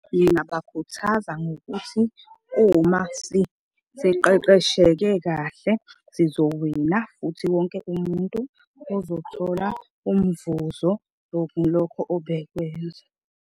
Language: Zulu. Ngingabakhuthaza ngokuthi uma siqeqeshekile kahle sizowina futhi wonke umuntu ozothola umvuzo lokho obekwenza.